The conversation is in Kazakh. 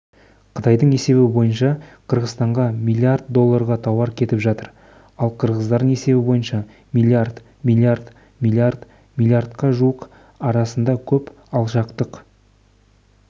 қытайдың есебі бойынша қырғызстанға миллиард долларға тауар кетіп жатыр ал қырғыздың есебі бойынша миллиард миллиард миллиард миллиардқа жуық арасында көп алшақтық